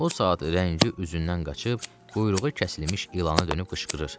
O saat rəngi üzündən qaçıb, quyruğu kəsilmiş ilana dönüb qışqırır.